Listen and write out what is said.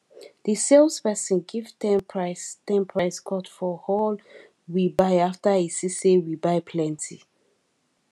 di sales person give ten price ten price cut for all we buy after he see say we buy plenty